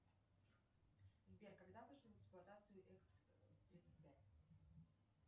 сбер когда вышел в эксплуатацию экс тридцать пять